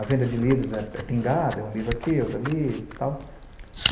A venda de livros é pingada, um livro aqui, outro ali e tal.